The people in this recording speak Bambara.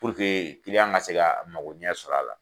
Puruke kiliyan ka se ka mago ɲɛ sɔrɔ a la.